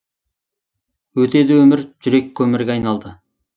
өтеді өмір жүрек көмірге айналды